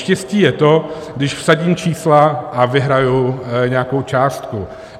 Štěstí je to, když vsadím čísla a vyhraji nějakou částku.